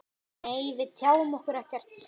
Nei, við tjáum okkur ekkert.